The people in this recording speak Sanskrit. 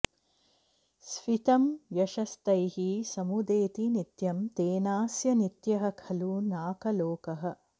स्फीतं यशस्तैः समुदेति नित्यं तेनास्य नित्यः खलु नाकलोकः